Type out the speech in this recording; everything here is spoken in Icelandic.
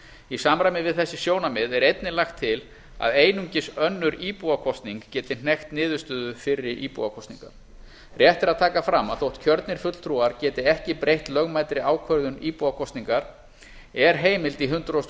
í samræmi við þessi sjónarmið er einnig lagt til að einungis önnur íbúakosning geti hnekkt niðurstöðu fyrri íbúakosningar rétt er að taka fram að þótt kjörnir fulltrúar geti ekki breytt lögmætri ákvörðun íbúakosningar er heimild í hundrað og